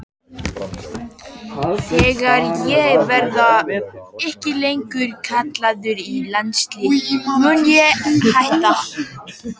Þegar ég verði ekki lengur kallaður í landsliðið mun ég hætta.